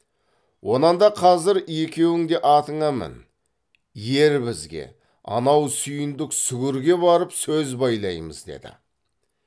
онан да қазір екеуің де атыңа мін ер бізге анау сүйіндік сүгірге барып сөз байлаймыз деді